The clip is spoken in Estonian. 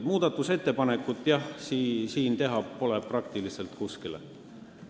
Muudatusettepanekuid, jah, ei ole siin praktiliselt millegi kohta võimalik teha.